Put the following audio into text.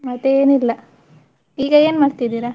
ಮತ್ತೆ ಏನಿಲ್ಲ, ಈಗ ಏನ್ ಮಾಡ್ತಿದ್ದೀರಾ?